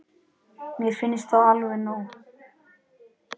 Mér finnst það alveg nóg.